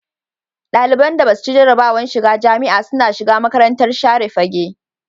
Daliban da Basu ci jarabawar shiga jamia suna zuwa makarantar share fage